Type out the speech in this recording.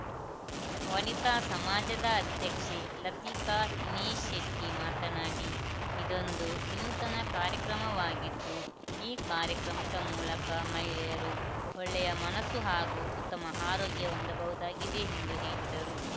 ವನಿತಾ ಸಮಾಜದ ಅಧ್ಯಕ್ಷೆ ಲತಿಕಾ ದಿನೇಶ್ ಶೆಟ್ಟಿಮಾತನಾಡಿ ಇದೊಂದು ವಿನೂತನ ಕಾರ್ಯಕ್ರಮವಾಗಿದ್ದು ಈ ಕಾರ್ಯಕ್ರಮದ ಮೂಲಕ ಮಹಿಳೆಯರು ಒಳ್ಳೆಯ ಮನಸ್ಸು ಹಾಗೂ ಉತ್ತಮ ಆರೋಗ್ಯ ಹೊಂದಬಹುದಾಗಿದೆ ಎಂದು ಹೇಳಿದರು